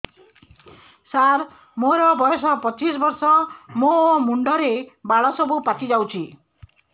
ସାର ମୋର ବୟସ ପଚିଶି ବର୍ଷ ମୋ ମୁଣ୍ଡରେ ବାଳ ସବୁ ପାଚି ଯାଉଛି